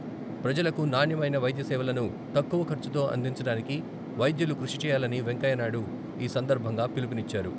ప్రజలకు నాణ్యమైన వైద్యసేవలను తక్కువ ఖర్చుతో అందించడానికి వైద్యులు కృషిచేయాలని వెంకయ్యనాయుడు ఈ సందర్భంగా పిలుపునిచ్చారు.